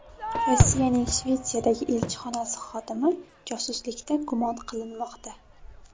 Rossiyaning Shvetsiyadagi elchixonasi xodimi josuslikda gumon qilinmoqda.